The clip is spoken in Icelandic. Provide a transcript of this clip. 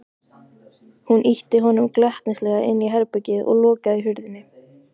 Hún ýtti honum glettnislega inn í herbergið og lokaði hurðinni.